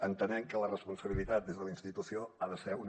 entenem que la responsabilitat des de la institució ha de ser una